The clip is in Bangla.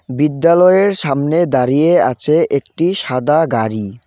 বিদ্যালয়ের সামনে দাঁড়িয়ে আছে একটি সাদা গাড়ি.